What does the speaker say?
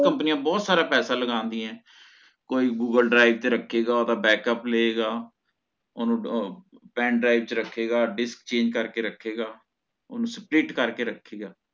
ਬੋਹੋਤ ਕੰਪਨੀਆਂ ਬੋਹੋਤ ਸਾਰਾ ਪੈਸੇ ਲਗਾਉਂਦੀ ਹੈ ਕੋਈ Google drive ਚ ਰੱਖੇਗਾ ਉਹਦਾ Backup ਲਵੇਗਾ ਓਹਨੂੰ ਅਹ Pen drive ਚ ਰੱਖੇਗਾ Disk change ਕਰਕੇ ਰੱਖੇਗਾ ਓਹਨੂੰ swift ਕਰਕੇ ਰੱਖੀਦਾ